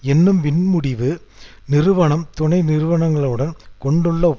என்னும் சிறப்பு அமைப்பின் தலைவராக இருந்தாலும்